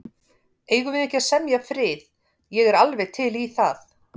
Eigum við ekki að semja frið. ég er alveg til í það.